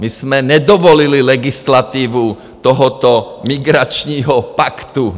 My jsme nedovolili legislativu tohoto migračního paktu,.